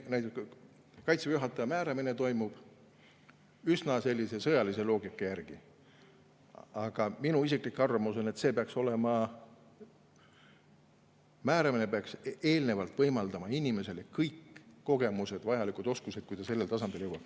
Kaitseväe juhataja määramine toimub meil üsna sõjalise loogika järgi, aga minu isiklik arvamus on, et see määramine peaks eelnevalt võimaldama inimesel kõik vajalikud kogemused ja oskused, enne kui ta sellele tasandile jõuab.